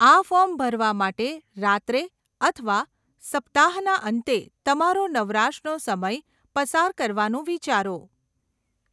આ ફોર્મ ભરવા માટે રાત્રે અથવા સપ્તાહના અંતે તમારો નવરાશનો સમય પસાર કરવાનું વિચારો.